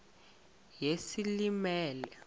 yesilimela